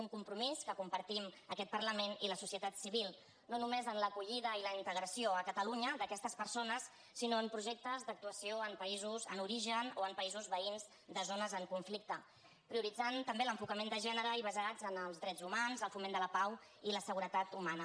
un compromís que compartim aquest parlament i la societat civil no només en l’acollida i la integració a catalunya d’aquestes persones sinó en projectes d’actuació en països en origen o en països veïns de zones en conflicte prioritzant també l’enfocament de gènere i basats en els drets humans el foment de la pau i la seguretat humana